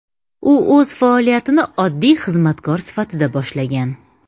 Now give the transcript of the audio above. U o‘z faoliyatini oddiy xizmatkor sifatida boshlagan.